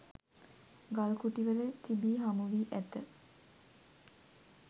ගල්කුටිවල තිබී හමුවී ඇත.